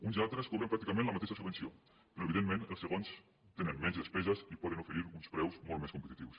uns i altres cobren pràcticament la mateixa subvenció però evidentment els segons tenen menys despeses i poden oferir uns preus molt més competitius